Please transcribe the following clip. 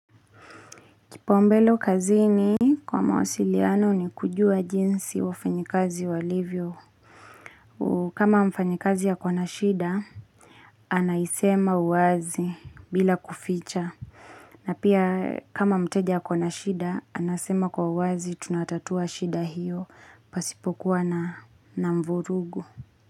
Kipaombelo kazini kwa mawasiliano ni kujua jinsi wafanyakazi wa livyo. Kama mfanyakazi akiwa na shida, anaisema wazi bila kuficha. Na pia kama mteja ako na shida, anasema kwa uwazi tunatatua shida hiyo, pasipokuwa na mvurugu.